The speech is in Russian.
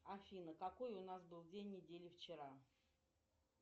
афина какой у нас был день недели вчера